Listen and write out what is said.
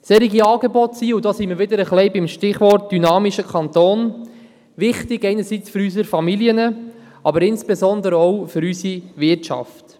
Solche Angebote sind – und da sind wir wieder beim Stichwort «dynamischer Kanton» – einerseits wichtig für unsere Familien, aber andererseits insbesondere auch für unsere Wirtschaft.